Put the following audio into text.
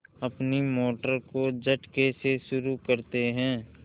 अपनी मोटर को झटके से शुरू करते हैं